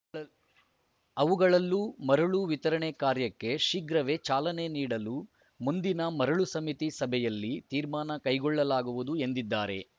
ಅವುಗಳಲ್ಲೂ ಮರಳು ವಿತರಣೆ ಕಾರ್ಯಕ್ಕೆ ಶೀಘ್ರವೇ ಚಾಲನೆ ನೀಡಲು ಮುಂದಿನ ಮರಳು ಸಮಿತಿ ಸಭೆಯಲ್ಲಿ ತೀರ್ಮಾನ ಕೈಗೊಳ್ಳಲಾಗುವುದು ಎಂದಿದ್ದಾರೆ